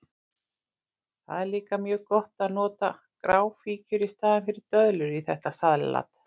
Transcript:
Það er líka mjög gott að nota gráfíkjur í staðinn fyrir döðlur í þetta salat.